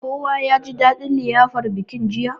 Kowa yaji dadin liyafar bikin jiya.